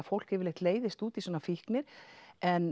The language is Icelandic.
fólk yfirleitt leiðist út í svona fíknir en